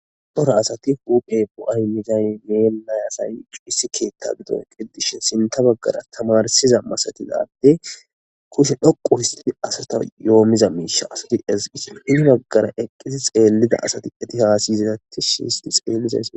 Cora asati huphe bo'ay miday, issi keta gidoni eqi utidashn sinta bagara tamarisiza masatiza adeyi kushe dhoqu histid asatasi yoomiza miisha asati ezigishe , hen bagara eqidi xeliza asati eti hasa'iza tish hist xeelishe...